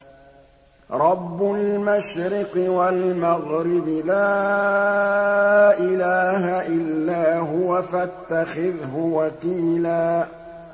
رَّبُّ الْمَشْرِقِ وَالْمَغْرِبِ لَا إِلَٰهَ إِلَّا هُوَ فَاتَّخِذْهُ وَكِيلًا